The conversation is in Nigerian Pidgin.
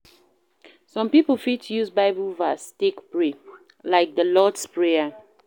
Some pipo fit use bible verse take pray, like di lord's prayer